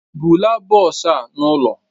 Bulaa bọsụ ah ụ n'ụlọ!